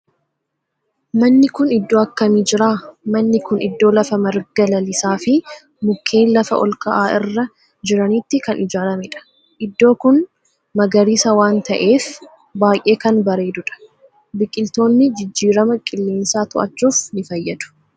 Manni kun iddoo akkamii jira? Manni kun iddoo lafa marga lalisaa fi mukkeen lafa olka'aa irra jiranitti kan ijaaramedha. Iddoo kun magariisa waan ta'eef baayyee kan bareedudha. Biqiltoonni jijjirama qilleensaa to'achuuf ni fayyadu.